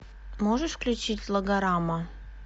можешь включить логорама